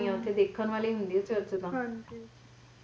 ਹਾਂ ਜੀ